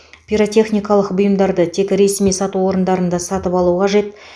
пиротехникалық бұйымдарды тек ресми сату орындарында сатып алу қажет